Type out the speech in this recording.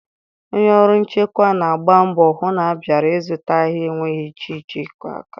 Onye ọrụ nchekwa na-agba mbọ hụ na bịara ịzụta ahịa enweghị ihe iche aka mgba.